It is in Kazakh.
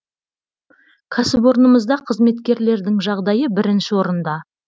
кәсіпорнымызда қызметкерлердің жағдайы бірінші орында